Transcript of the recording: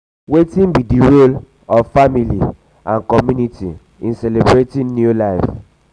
wetin be di role of family and community um in celebrating um new life?